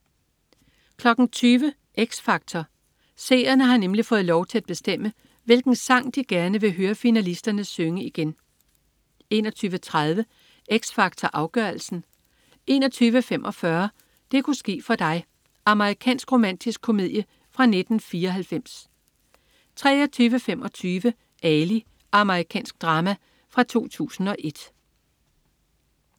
20.00 X Factor. Seerne har nemlig fået lov til at bestemme, hvilken sang de gerne vil høre finalisterne synge igen 21.30 X Factor Afgørelsen 21.45 Det ku' ske for dig. Amerikansk romantisk komedie fra 1994 23.25 Ali. Amerikansk drama fra 2001